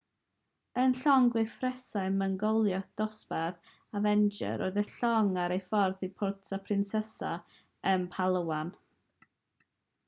yn llong gwrthfesurau mwyngloddiau dosbarth avenger roedd y llong ar ei ffordd i puerto princesa yn palawan